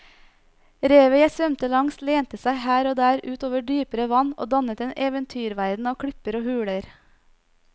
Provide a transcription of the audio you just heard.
Revet jeg svømte langs lente seg her og der ut over dypere vann og dannet en eventyrverden av klipper og huler.